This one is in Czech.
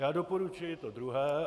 Já doporučuji to druhé.